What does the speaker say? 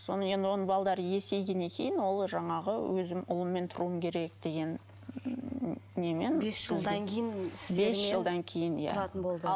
содан кейін енді оның балдары есейгеннен кейін ол жаңағы өзімн ұлыммен тұруым керек деген немен быс жылдан кейін бес жылдан кейін иә тұратын болды